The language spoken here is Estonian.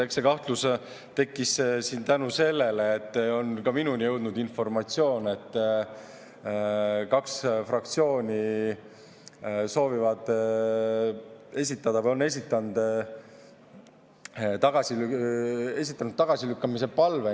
Eks see kahtlus tekkis tänu sellele, et on ka minuni jõudnud informatsioon, et kaks fraktsiooni soovivad esitada või on esitanud tagasilükkamise palve.